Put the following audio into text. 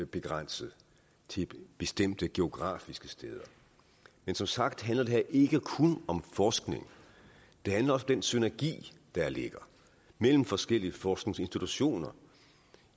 begrænset til bestemte geografiske steder men som sagt handler det her ikke kun om forskning det handler også om den synergi der ligger mellem forskellige forskningsinstitutioner